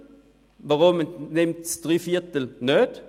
Weshalb wählen sie drei Viertel nicht?